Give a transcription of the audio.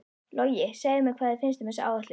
Logi, segðu mér, hvað finnst þér um þessa áætlun?